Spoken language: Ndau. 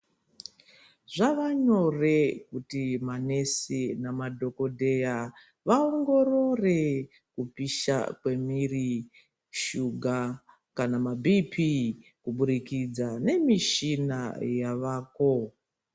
Zvava nyore kuti manesi nemadhokodheya vaongorore kupisha kwemwiri, shuga kana maBP kuburikidza nemishina yavako.